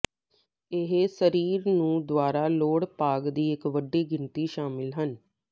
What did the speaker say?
ਇਹ ਸਰੀਰ ਨੂੰ ਦੁਆਰਾ ਲੋੜ ਭਾਗ ਦੀ ਇੱਕ ਵੱਡੀ ਗਿਣਤੀ ਸ਼ਾਮਿਲ ਹਨ